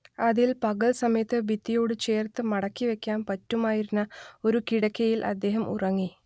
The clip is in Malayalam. അതിൽ പകൽ സമയത്ത് ഭിത്തിയോടു ചേർത്ത് മടക്കിവക്കാൻ പറ്റുമായിരുന്ന ഒരു കിടക്കയിൽ അദ്ദേഹം ഉറങ്ങി